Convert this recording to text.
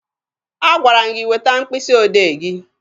Agwara m gị weta mkpịsị odee gị!